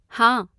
हाँ।